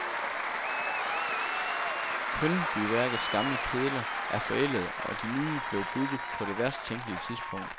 Kyndbyværkets gamle kedler er forældede og de nye blev bygget på det værst tænkelige tidspunkt.